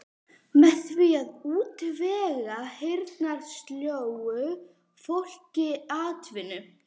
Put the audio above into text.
Með því að útvega heyrnarsljóu fólki atvinnu.